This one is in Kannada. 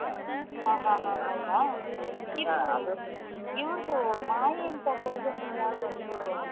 ಹಾ ಹಾ ಹೌದಾ ಇವ್ರುದ್ರ್ ಮಾಯೆ ಅಂತ ಕೊರಗಜ್ಜನದು ಯಾವ್ದೋ ಒಂದು